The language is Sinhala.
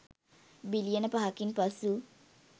බිලියන පහකින් පසු